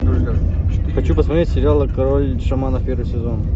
хочу посмотреть сериал король шаманов первый сезон